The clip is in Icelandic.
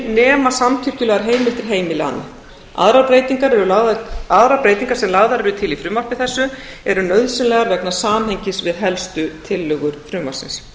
nema samkippilegar heimili annað aðrar breytingar sem lagðar eru til í frumvarpi þessu eru nauðsynlegar vegna samhengis við helstu tillögur frumvarpsins